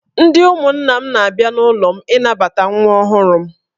Ndị ụmụnna m na-abịa n'ụlọ m ịnabata nwa ọhụrụ m